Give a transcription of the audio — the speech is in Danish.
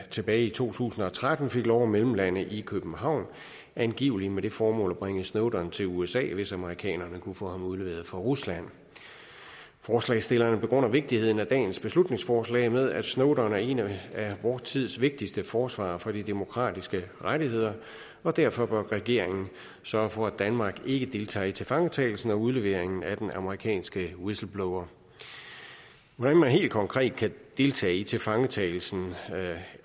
tilbage i to tusind og tretten fik lov til at mellemlande i københavn angiveligt med det formål at bringe snowden til usa hvis amerikanerne kunne få ham udleveret fra rusland forslagsstillerne begrunder vigtigheden af dagens beslutningsforslag med at snowden er en af vor tids vigtigste forsvarere for de demokratiske rettigheder og derfor bør regeringen sørge for at danmark ikke deltager i tilfangetagelsen og udleveringen af den amerikanske whistleblower hvordan man helt konkret kan deltage i tilfangetagelsen